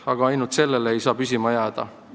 Aga ainult sellega ei tohi piirduda.